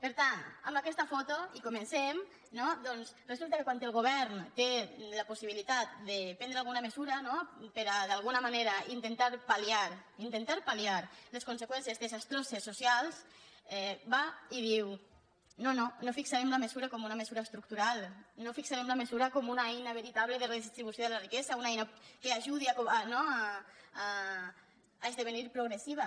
per tant amb aquesta foto i comencen no doncs resulta que quan el govern té la possibilitat de prendre alguna mesura no per a d’alguna manera intentar pal·liar intentar palses socials va i diu no no no fixarem la mesura com una mesura estructural no fixarem la mesura com una eina veritable de redistribució de la riquesa una eina que ajudi no a esdevenir progressiva